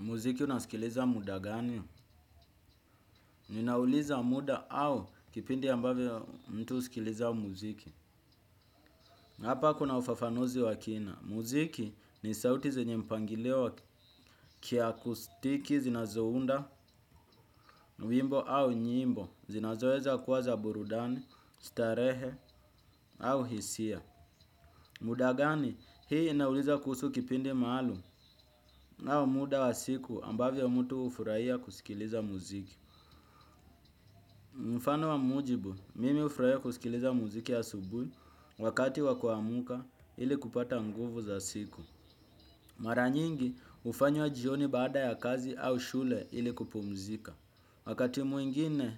Muziki unasikiliza muda gani, ninauliza muda au kipindi ambavyo mtu husikiliza muziki. Hapa kuna ufafanuzi wa kina, muziki ni sauti zenye mpangilio wa kiakustiki zinazounda wimbo au nyimbo, zinazoeza kuwa za burudani, starehe au hisia. Muda gani, hii inauliza kuhusu kipindi maalum au muda wa siku ambavyo mtu hufurahia kusikiliza muziki. Mfano wa mujibu, mimi hufurahia kusikiliza muziki asubuhi wakati wa kuamka ili kupata nguvu za siku. Mara nyingi hufanywa jioni baada ya kazi au shule ili kupumzika. Wakati mwingine